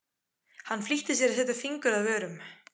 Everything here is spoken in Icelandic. Hann flýtti sér að setja fingur að vörum.